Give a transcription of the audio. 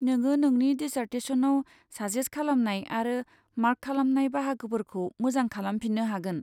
नोङो नोंनि डिसार्टेसनआव साजेस खालामनाय आरो मार्क खालामनाय बाहागोफोरखौ मोजां खालामफिन्नो हागोन।